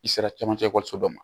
I sera camancɛ ekɔliso dɔ ma